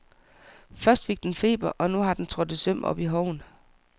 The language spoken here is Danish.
Først fik den feber, og nu har den trådt et søm op i hoven.